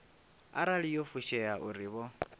arali yo fushea uri vho